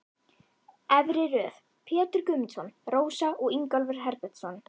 Efri röð: Pétur Guðmundsson, Rósa og Ingólfur Herbertsson.